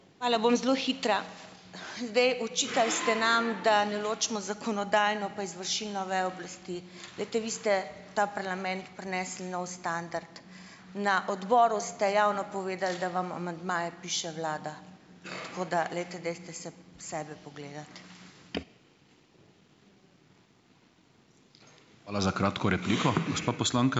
Hvala. Bom zelo hitra. Zdaj, očitali ste nam , da ne ločimo zakonodajno pa izvršilno vejo oblasti. Glejte, vi ste ta parlament prinesli nov standard. Na odboru ste javno povedali, da vam amandmaje piše vlada, tako da, glejte, dajte se sebe pogledati.